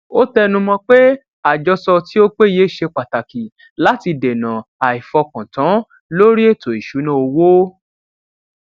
ó tẹnu mọ pé àjọsọ tí ó péye ṣe pàtàkì láti dènà àìfọkàntán lórí ètò ìṣúná owó